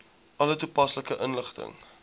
alle toepaslike inligting